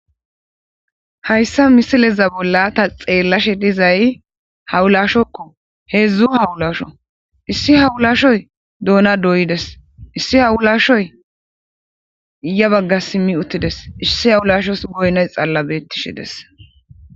hayssa misileza bolla ta xeellashe dizay hawulashokko heedzdzu hawulasho issi hawulashoy doona doyides issi hawulashoy ya bagga simmi uttides issi hawulashos goynoy xalla betish des